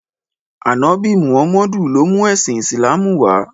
Ànọ́bì Mùhámádù ló mú ẹ̀sìn Ìsìlámù wá.